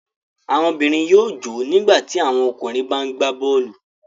Àwọn obìnrin yóò jò ó nígbà tí àwọn ọkùnrin bá ń gbá bọ́ọ́lù.